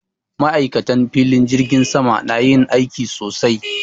Ma'aikatan filin jirgin sama na yin aiki sosai